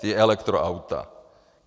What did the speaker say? Ta elektroauta.